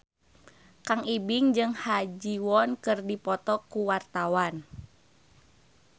Kang Ibing jeung Ha Ji Won keur dipoto ku wartawan